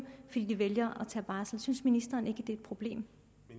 fordi de vælger at tage barsel synes ministeren ikke det er et problem